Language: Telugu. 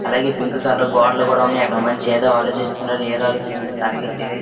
అలాగే పింక్ కలర్ గోడలు కూడా ఉన్నాయి. అక్కడ మనిషి ఎదో ఆలోచిస్తున్నార. ఏది ఆలోచిస్తున్నారో తనకే తెలీదు.